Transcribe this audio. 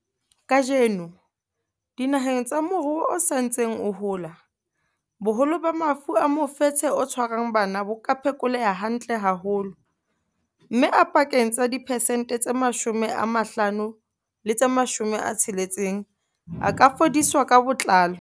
Kajeno, dinaheng tsa moruo o sa ntseng o hola, boholo ba mafu a mofetshe o tshwarang bana bo ka phekoleha hantle haholo, mme a pakeng tsa diphesente tse 50 le tse 60 a ka fodiswa ka botlalo.